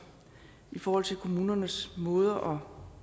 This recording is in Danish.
i forhold til kommunernes måder